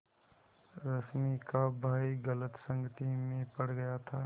रश्मि का भाई गलत संगति में पड़ गया था